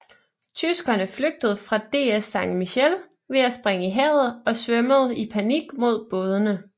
Tyskerne flygtede fra DS San Miguel ved at springe i havet og svømmede i panik mod bådene